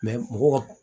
mɔgɔw